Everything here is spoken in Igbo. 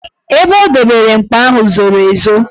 Ebe o dobere mkpa ahụ zoro ezo.